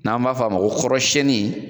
N'an b'a fɔ ma ko kɔrɔsiyɛnni